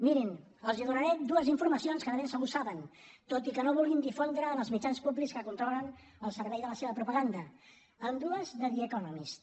mirin els donaré dues informacions que de ben segur saben tot i que no vulguin difondre en els mitjans públics que controlen al servei de la seva propaganda ambdues de the economist